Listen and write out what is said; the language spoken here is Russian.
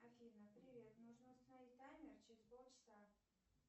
афина привет нужно установить таймер через полчаса